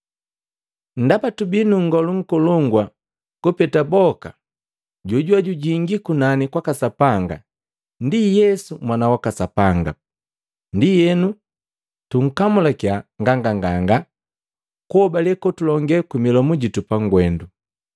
Ndaba tubii nu Ngolu Nkolongu kupeta boka jojuwe jujingi kunani kwaka Sapanga, ndi Yesu Mwana waka Sapanga, ndienu tukamulakia nganganganga kuhobale kotulonge kwimilomu jitu pangwendu.